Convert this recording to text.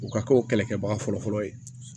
U ka kɛ o kɛlɛkɛbaga fɔlɔfɔlɔ ye